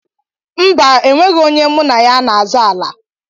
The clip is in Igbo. Mba, onweghi onye mụ na ya n'azọ ala.